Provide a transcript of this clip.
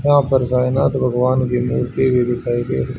यहां पर साईं नाथ भगवान की मूर्ति भी दिखाई गई।